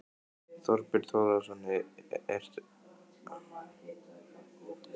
Þorbjörn Þórðarson: Eru að meina á samfélagsmiðlum?